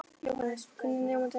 Jóhannes: Hvernig nemandi er hann?